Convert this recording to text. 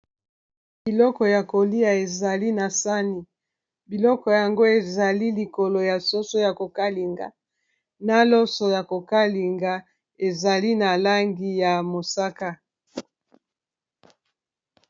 biloko ya kolia ezali na sani biloko yango ezali likolo ya soso ya kokalinga na loso ya kokalinga ezali na langi ya mosaka